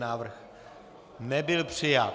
Návrh nebyl přijat.